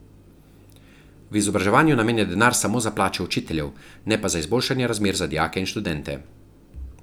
V izobraževanju namenja denar samo za plače učiteljev, ne pa za izboljšanje razmer za dijake in študente.